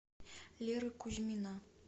леры кузьмина